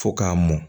Fo k'a mɔn